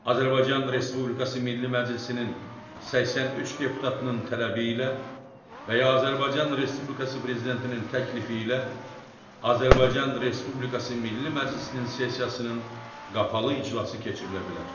Azərbaycan Respublikası Milli Məclisinin 83 deputatının tələbi ilə və ya Azərbaycan Respublikası Prezidentinin təklifi ilə Azərbaycan Respublikası Milli Məclisinin sessiyasının qapalı iclası keçirilə bilər.